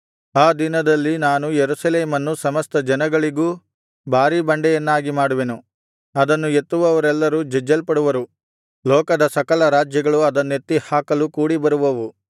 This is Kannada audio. ಆ ದಿನದಲ್ಲಿ ನಾನು ಯೆರೂಸಲೇಮನ್ನು ಸಮಸ್ತ ಜನಗಳಿಗೂ ಭಾರೀ ಬಂಡೆಯನ್ನಾಗಿ ಮಾಡುವೆನು ಅದನ್ನು ಎತ್ತುವವರೆಲ್ಲರು ಜಜ್ಜಲ್ಪಡುವರು ಲೋಕದ ಸಕಲ ರಾಜ್ಯಗಳು ಅದನ್ನೆತ್ತಿ ಹಾಕಲು ಕೂಡಿಬರುವವು